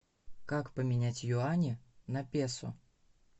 как поменять юани на песо